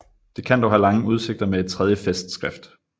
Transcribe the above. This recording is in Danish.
Det kan dog have lange udsigter med et tredje festskrift